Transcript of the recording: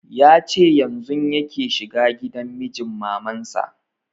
Ya ce yanzun yake shiga gida mijin maman sa